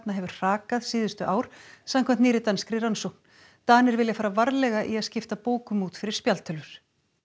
hefur hrakað síðustu ár samkvæmt nýrri danskri rannsókn Danir vilja fara varlega í að skipta bókum út fyrir spjaldtölvur